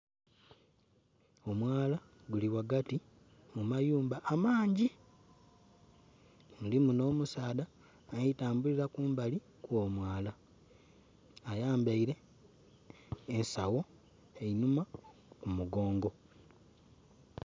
Omwala guli wagati mu mayumba amangi. Mulimu nh'omusaadha ali tambulila kumbali kw'omwala ayambaile ensagho enhuma ku mugongo